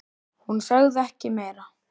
Hún sagði ekki meira.